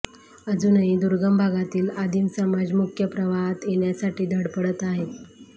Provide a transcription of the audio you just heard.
अजूनही दुर्गम भागातील आदिम समाज मुख्य प्रवाहात येण्यासाठी धडपडत आहे